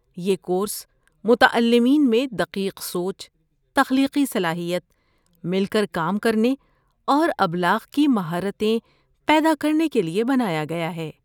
یہ کورس متعلمین میں دقیق سوچ، تخلیقی صلاحیت، مل کر کام کرنے اور ابلاغ کی مہارتیں پیدا کرنے کے لیے بنایا گیا ہے۔